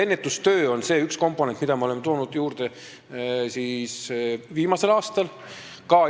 Ennetustöö on üks komponent, mida ma olen toonud juurde viimasel aastal.